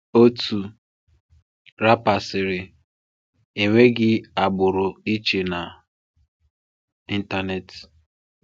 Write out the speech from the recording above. Otu rapper sịrị, 'Enweghị agbụrụ iche na Internet.'